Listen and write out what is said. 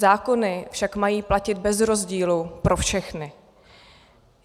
Zákony však mají platit bez rozdílu pro všechny.